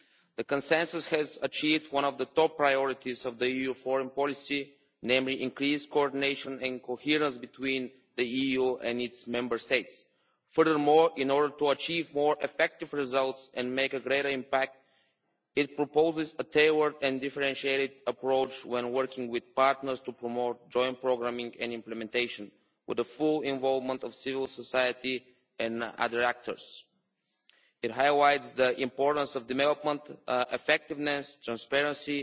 The Consensus has achieved one of the top priorities of EU foreign policy, namely increased coordination and coherence between the EU and its Member States. Furthermore, in order to achieve more effective results and make a greater impact, it proposes a tailored and differentiated approach when working with partners to promote joint programming and implementation, with the full involvement of civil society and other actors. It highlights the importance of development effectiveness, transparency,